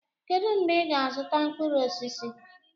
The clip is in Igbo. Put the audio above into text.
kedu mgbe ị ga-azụta mkpụrụ osisi?